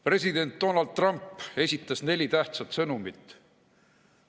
President Donald Trump esitas neli tähtsat sõnumit.